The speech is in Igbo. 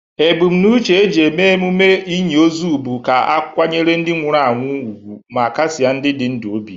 Ebumnuche eji eme emume inyi ozu bụ ka akwanyere ndi nwụrụ anwụ ugwu ma kasie ndi dị ndụ obi.